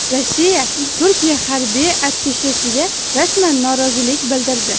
Rossiya Turkiya harbiy attashesiga rasman norozilik bildirdi.